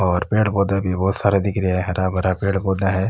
और पेड़ पौधा भी बहोत सारा दिखे रा है हरा भरा पेड़ पौधा है।